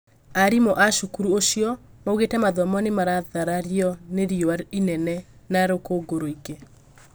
arimũ a cukuru ũcio maugĩte mathomo nimaratharario nĩ riũa inene na rũkũngũ rũingĩ